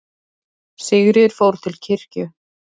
Sigríður fór til kirkju.